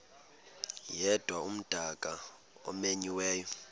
yedwa umdaka omenyiweyo